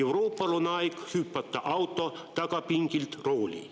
Euroopal on aeg hüpata auto tagapingilt rooli.